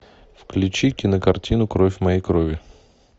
включи кинокартину кровь моей крови